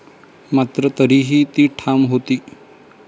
मात्र तरीही ती ठाम होती.